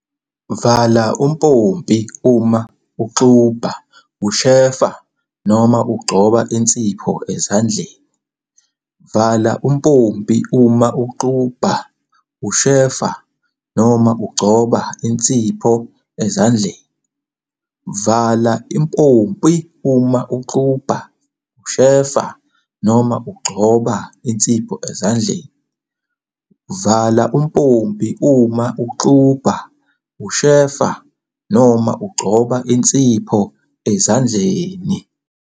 Vala umpompi uma uxubha, ushefa noma ugcoba insipho ezandleni. Vala umpompi uma uxubha, ushefa noma ugcoba insipho ezandleni. Vala umpompi uma uxubha, ushefa noma ugcoba insipho ezandleni. Vala umpompi uma uxubha, ushefa noma ugcoba insipho ezandleni.